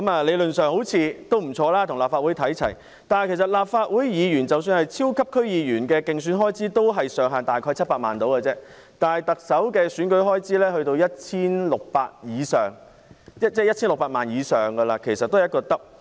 理論上，這好像不錯，但是立法會的"超級區議員"的競選開支上限也只是700萬元，而特首的選舉開支則高達 1,600 萬元以上，其實是雙倍。